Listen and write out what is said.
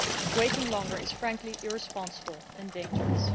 Waiting longer is, frankly, irresponsible and dangerous.